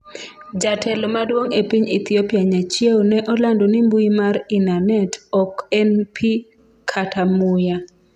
jatelo maduong' e piny Ethiopia Nyachiewo ne olando ni mbui mar inanet ok en pi kata muya